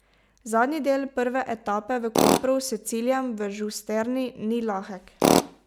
Zadnji del prve etape v Kopru s ciljem v Žusterni ni lahek.